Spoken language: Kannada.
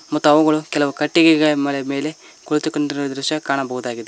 ಮತ್ತು ಅವುಗಳು ಕೆಲವು ಕಟ್ಟಿಗೆಗಳ ಮೇಲೆ ಕುಳಿತುಕೊಂಡಿರುವ ದೃಶ್ಯ ಕಾಣಬಹುದಾಗಿದೆ.